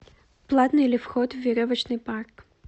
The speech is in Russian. платный ли вход в веревочный парк